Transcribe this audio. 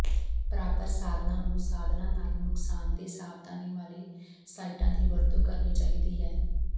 ਪ੍ਰਾਪਤ ਸਾਧਨਾਂ ਨੂੰ ਸਾਧਨਾਂ ਨਾਲ ਨੁਕਸਾਨਦੇਹ ਸਾਵਧਾਨੀ ਵਾਲੇ ਸਾਈਟਾਂ ਦੀ ਵਰਤੋਂ ਕਰਨੀ ਚਾਹੀਦੀ ਹੈ